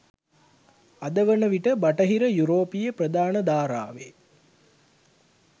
අද වන විට බටහිර යුරෝපීය ප්‍රධාන ධාරාවේ